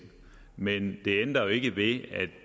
men det ændrer jo ikke ved at